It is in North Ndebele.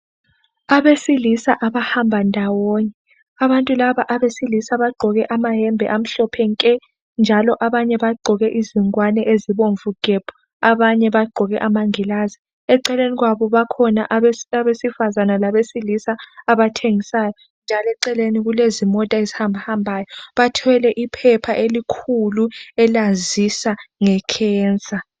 Abesilisa abahamba ndawonye. Abesilisa laba bagqoke amayembe amhlophe nke njalo abanye bagqoke ingowane ezibomvu gebhu. Kukhona abagqoke amangilazi. Eceleni kwabo kukhona abesilisa labesifazana abathengisayo kanye lezimota. Bathwele iphepha elikhulu elazisa ngemvukuzane.